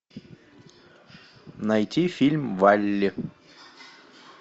найти фильм валли